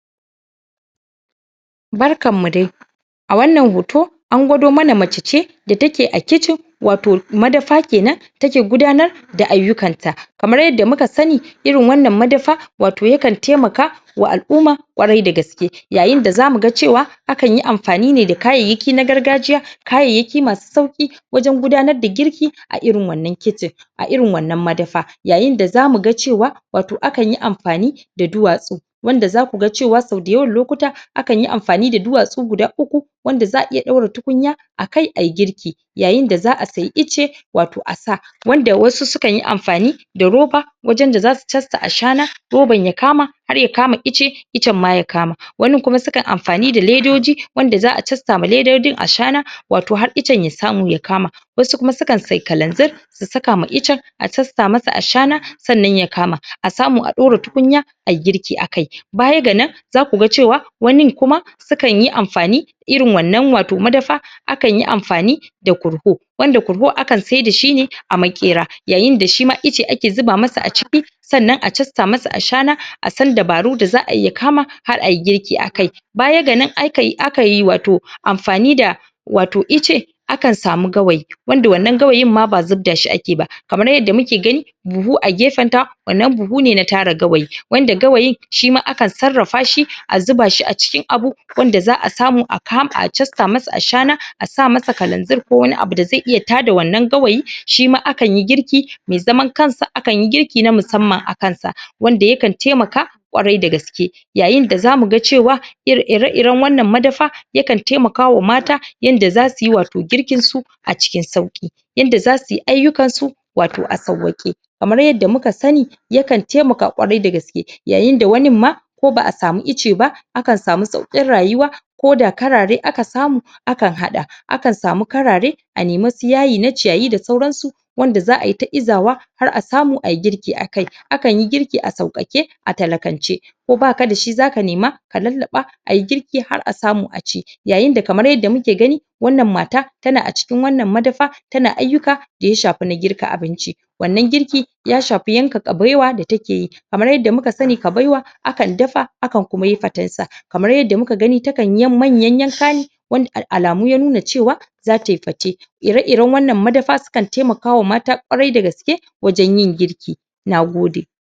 Barkan mu dai! A wannan hoto, an gwado mana mace ce da take a kitchen, wato madafa kenan take gudanar da ayukkan ta. Kamar yadda muka sani irin wannan madafa, wato yakan taimakawa al'umma ƙwarai da gaske. Yayin da za mu ga cewa akan yi amfani ne da kayayyaki na gargajiya kayayyaki masu sauƙi, wajen gudanar da girki a irin wannan kitchen, a irin wanna madafa. Yayin da za mu ga cewa wato akan yi amfani da duwatsu wanda za ku ga cewa sau da yawan lokuta akan yi amfani da duwatsu guda uku wanda za'a iya ɗaura tukunya akai ayi girki. Yayin da za'a saye icce wato a sa. Wanda wasu sukan yi amfani da roba wajen da za su casta ashana roban ya kama har ya kama icce, iccen ma ya kama. Wanin kuma sukan yi amfani da ledoji, wanda za'a casta ma ledojin ashana, wato har iccen ya samu ya kama. Wasu kuma sukan saye kalanzir su saka ma iccen, a casta masa ashana sannan ya kama. A samu a ɗora tukunya ayi girki akai. Baya ga nan za ku ga cewa wanin kuma sukan yi amfani irin wannan wato madafa, akan yi amfani da korho, wanda korho akan saida shi ne a maƙera. Yayin da shi ma icce ake zuba masa a ciki sannan a zasta masa ashana, a san dabaru da za'a yi ya kama har ayi girki akai Baya ga nan aika akan yi wato amfani da wato icce, akan samu gawayi wanda wannan gawayin ma ba zubda shi ake ba. Kamar yadda muke gani buhu a gefen ta, wannan buhu ne na tara gawayi. wanda gawayin shi ma akan sarrafa shi, a zuba shi a cikin abu wanda za'a samu aka, a casta masa ashana a sa masa kalanzir ko wani abu da zai iya tada wannan gawayin shi ma kanyi girki mai zaman kansa, akan yi girki na musamman akan sa. Wanda yakan taimaka ƙwarai da gaske. Yayin da za mu ga cewa iri ire-iren wannan madafa, yakan taimakawa mata yanda za suyi wato girkin su a cikin sauƙi, yanda za su yi ayukkan su wato a sauwaƙe. Kamar yadda muka sani yakan taimaka ƙwarai da gsake. Yayin da wanin ma ko ba'a samu icce ba akan samu sauƙin rayuwa koda karare akan samu akan haɗa akan samu karare, a nemi su yayi na ciyayi da saurana su, wanda za'a yi izawa har a samu ayi girki akai. Akan yi girki a sauƙaƙe, a talakance. Ko baka da shi za ka nema, a lallaɓa ayi girki har a samu a ci. Yayin da kamar yadda muke gani, wannan mata ta na a cikin wannan madafa, ta na ayukka da ya shafi na girka abinci, wannan girki ya shafi yanka ƙabewa da take yi Kamar yadda muka sani ƙabewa, akan dafa akan muka yi faten sa. Kamar yadda muka gani takan yi yam manya yanka ne wan a alamu ya nuna cewa za ta yi fate. Ire-iren wannan madafa sukan taimakawa mata ƙwarai da gaske wajen yin girki. Nagode!